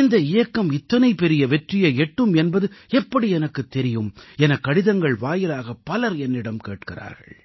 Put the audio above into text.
இந்த இயக்கம் இத்தனை பெரிய வெற்றியை எட்டும் என்பது எப்படி எனக்கு தெரியும் எனக் கடிதங்கள் வாயிலாகப் பலர் என்னிடம் கேட்கிறார்கள்